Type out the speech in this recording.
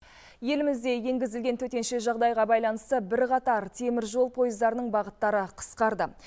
елімізде енгізілген төтенше жағдайға байланысты бірқатар теміржол пойыздарының бағыттары қысқарды